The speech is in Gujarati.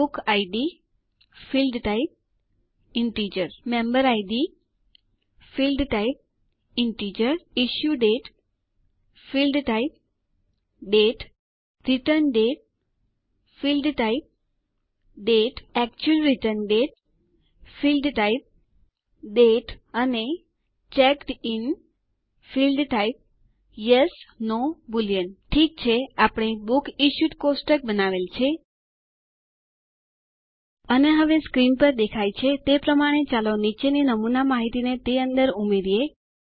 book ID field type integer member ID Field type integer issue date field type date return date field type date actual return date field type date અને checked in field type yes no boolean ઠીક છે આપણે બુક્સ ઇશ્યુડ કોષ્ટક બનાવેલ છે અને હવે સ્ક્રીન પર દેખાય છે તે પ્રમાણે ચાલો નીચેની નમૂના માહિતીને તે અંદર ઉમેરીએ